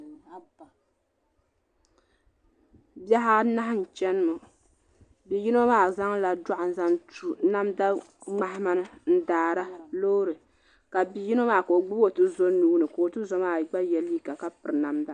Bihi anahi n chana ŋɔ yino maa zaŋla dɔɣu n zaŋ tu mamda ŋmahama n daara loori ka bi'yino maa ka o gbibi o tuzo nuuni ka o tuzo maa gba ye liiga ka piri namda.